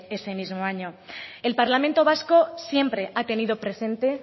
ese mismo año el parlamento vasco siempre ha tenido presente